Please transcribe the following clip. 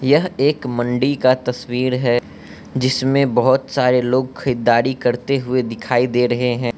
यह एक मंडी का तस्वीर है जिसमें बहुत सारे लोग खरीदारी करते हुए दिखाई दे रहे हैं।